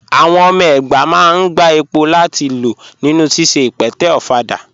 Àwọn ọmọ ẹgbá máa n gbà èpò láti lọ̀ nínu síṣẹ̀ ìpẹ̀tẹ̀ òfàdà.